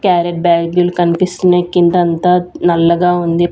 Carrot బాగులు కన్పిస్తున్నాయ్ కింద అంతా నల్లగా ఉంది.